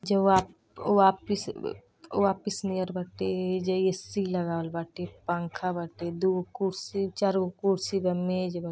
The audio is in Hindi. जो आप वापिस व ऑफिस नियर बाटें। एहिजा ए.सी लगावल बाटे पंखा बाटे दूगो कुर्सी चार गो कुर्सी बा मेज बा।